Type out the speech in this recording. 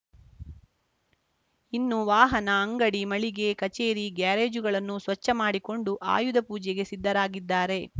ಇನ್ನು ವಾಹನ ಅಂಗಡಿ ಮಳಿಗೆ ಕಚೇರಿ ಗ್ಯಾರೇಜ್‌ಗಳನ್ನು ಸ್ಪಚ್ಛ ಮಾಡಿಕೊಂಡು ಆಯುಧ ಪೂಜೆಗೆ ಸಿದ್ಧರಾಗಿದ್ದಾರೆ